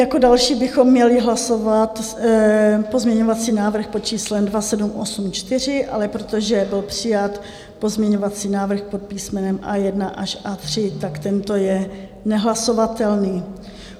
Jako další bychom měli hlasovat pozměňovací návrh pod číslem 2784, ale protože byl přijat pozměňovací návrh pod písmenem A1 až A3, tak tento je nehlasovatelný.